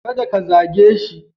Kada ka zage shi.